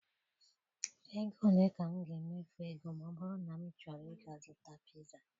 Ego ole ka m ga-emefu ego ma ọ bụrụ na achọrọ m ịga zụta piza?